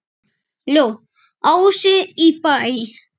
Ljóð: Ási í Bæ